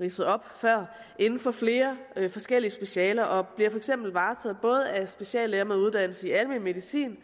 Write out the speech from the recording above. ridsede op før inden for flere forskellige specialer og bliver for eksempel varetaget både af speciallæger med uddannelse i almen medicin